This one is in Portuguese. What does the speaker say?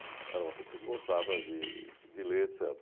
Era uma pessoa que gostava de de ler, et cetera.